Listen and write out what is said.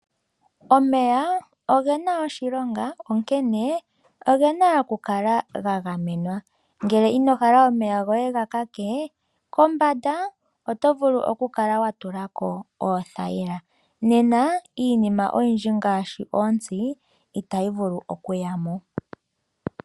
Omeya oge na oshilonga, onkene oge na okukala ga gamenwa. Ngele ino hala omeya goye ga lake, kombanda oto vulu okutula ko oothayila. Nena iinima oyindji ngaashi oontsi itayi vulu okuya mo.